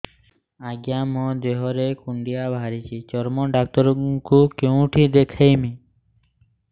ଆଜ୍ଞା ମୋ ଦେହ ରେ କୁଣ୍ଡିଆ ବାହାରିଛି ଚର୍ମ ଡାକ୍ତର ଙ୍କୁ କେଉଁଠି ଦେଖେଇମି